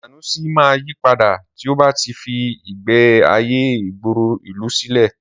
Sànúsí máa yípadà tí ọ bá tí fí ìgbé ayé ìgboro ìlú sílẹ̀